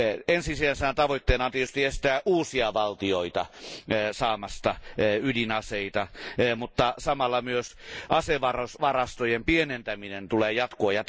Ensisijaisena tavoitteena on tietysti estää uusia valtioita saamasta ydinaseita, mutta samalla myös asevarastojen pienentäminen tulee jatkua.